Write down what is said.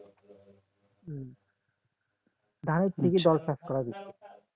ধানের থেকে বেশি